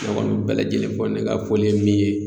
Ne kɔni bɛɛ lajɛlen fo ne ka foli ye min ye